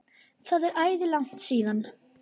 Það er æði langt síðan.